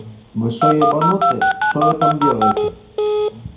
большой ебанутый что вы там делаете